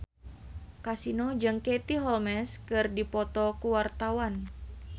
Kasino jeung Katie Holmes keur dipoto ku wartawan